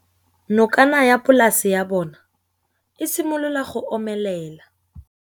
Nokana ya polase ya bona, e simolola go omelela.